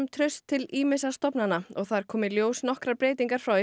traust til ýmissa stofnana og þar komu í ljós nokkrar breytingar frá